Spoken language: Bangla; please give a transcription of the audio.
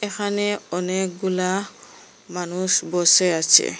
এখানে অনেকগুলা মানুষ বসে আছে।